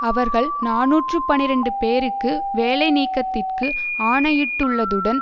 அவர்கள் நாநூற்று பனிரண்டு பேருக்கு வேலைநீக்கத்திற்கு ஆணையிட்டுள்ளதுடன்